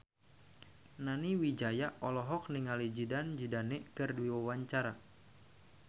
Nani Wijaya olohok ningali Zidane Zidane keur diwawancara